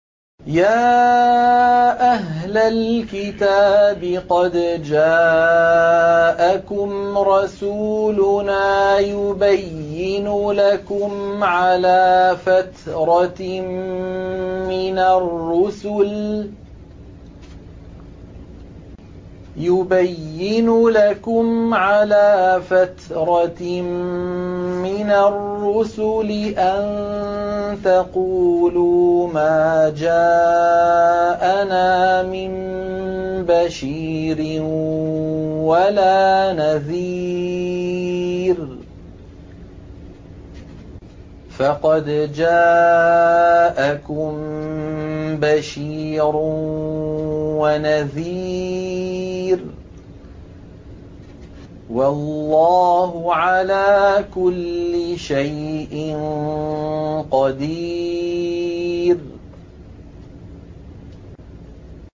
يَا أَهْلَ الْكِتَابِ قَدْ جَاءَكُمْ رَسُولُنَا يُبَيِّنُ لَكُمْ عَلَىٰ فَتْرَةٍ مِّنَ الرُّسُلِ أَن تَقُولُوا مَا جَاءَنَا مِن بَشِيرٍ وَلَا نَذِيرٍ ۖ فَقَدْ جَاءَكُم بَشِيرٌ وَنَذِيرٌ ۗ وَاللَّهُ عَلَىٰ كُلِّ شَيْءٍ قَدِيرٌ